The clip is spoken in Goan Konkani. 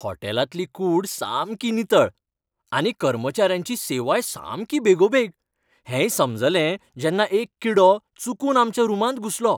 हॉटेलांतली कूड सामकी नितळ, आनी कर्मचाऱ्यांची सेवाय सामकी बेगोबेग हेंय समजलें जेन्ना एक किडो चुकून आमच्या रुमांत घुसलो,